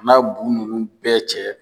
N m'a gunguru bɛɛ cɛ